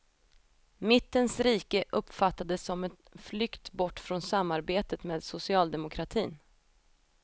Mittens rike uppfattades som en flykt bort från samarbetet med socialdemokratin.